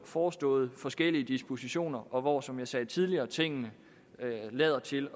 forestået forskellige dispositioner og hvor som jeg sagde tidligere tingene lader til